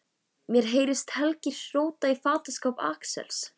Mér heyrist Helgi róta í fataskáp Axels.